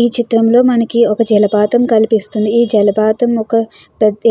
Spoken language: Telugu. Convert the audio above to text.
ఈ చిత్రంలో మనకి ఒక జలపాతం కల్పిస్తుంది. ఈ జలపాతం ఒక